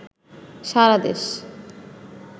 সারাদেশ